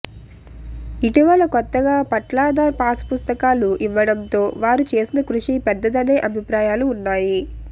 ఇటీవల కొత్తగా పట్లాదార్ పాస్ పుస్తకాలు ఇవ్వడంతో వారు చేసిన కృషి పెద్దదనే అభిప్రాయాలు ఉన్నాయి